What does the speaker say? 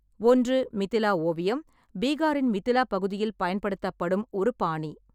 ஒன்று மிதிலா ஓவியம், பீகாரின் மிதிலா பகுதியில் பயன்படுத்தப்படும் ஒரு பாணி.